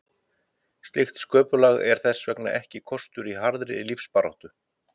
Slíkt sköpulag er þess vegna ekki kostur í harðri lífsbaráttu.